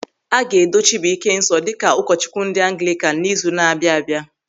A ga-edo Chịbụị́ké nsọ dịka ụkọchukwu ndị Anglịkan n'izu na-abịa abịa.